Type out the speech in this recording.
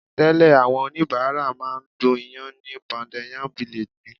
Tẹ́lẹ̀ àwọn oníbàárà máa ń du ìyàn ní Pounded Yam Village ni.